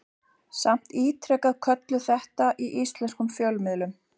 Samt ítrekað kölluð þetta í íslenskum fjölmiðlum.